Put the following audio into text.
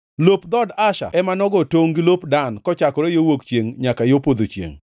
Lop dhood Asher ema nogo tongʼ gi lop Dan kochakore yo wuok chiengʼ nyaka yo podho chiengʼ.